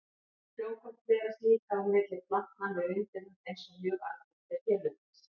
Frjókorn berast líka á milli plantna með vindinum eins og mjög algengt er hérlendis.